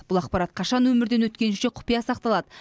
бұл ақпарат қашан өмірден өткенінше құпия сақталады